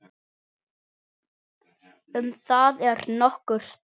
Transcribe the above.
Um það eru nokkur dæmi.